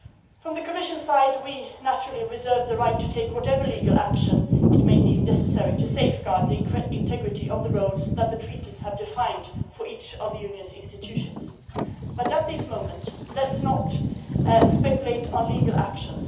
From the Commission's side we naturally reserve the right to take whatever legal action we may deem necessary to safeguard the integrity of the roles that the Treaties have defined for each of the Union's institutions, but at this moment let us not speculate on legal action.